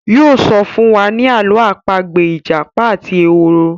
yóò sọ fún wa ní Àló̩ àpagbè ìjàpá àti ehoro.